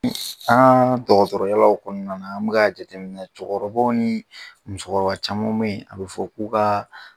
an ŋaa dɔgɔtɔrɔ yaalaw kɔɔna na an bɛ k'a jateminɛ cɛkɔrɔbaw ni musokɔrɔba caman be ye a bɛ fɔ k'u kaa